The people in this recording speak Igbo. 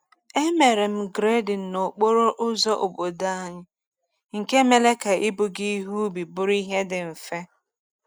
E mere grading n’okporo ụzọ obodo anyị, nke mere ka ibuga ihe ubi bụrụ ihe dị mfe.